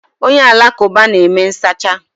Onye alakụba na-eme nsacha.